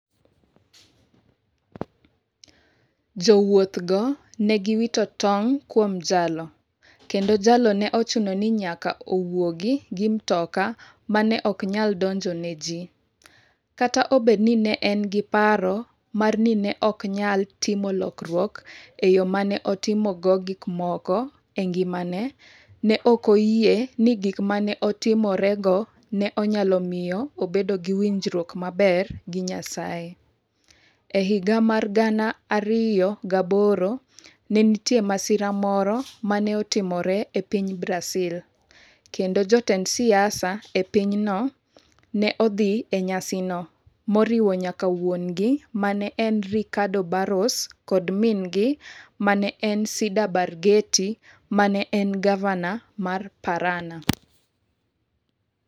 Jowuothgo Ne giwito tong ' kuom jalo, kendo jalo ne ochuno ni nyaka owuogi gi mtoka ma ne ok nyal donjo ne ji Kata obedo ni ne en gi paro mar ni ne ok onyal timo lokruok e yo ma ne otimogo gik moko e ngimane, ne ok oyie ni gik ma ne otimorego ne nyalo miyo obed gi winjruok maber gi Nyasaye. E higa mar 2008, ne nitie masira moro ma ne otimore e piny Brazil, kendo jotend siasa e pinyno ne odhi e nyasino, moriwo nyaka wuon - gi ma en Ricardo Barros, kod min - gi ma en Cida Barghetti, ma ne en gavana mar Paraná.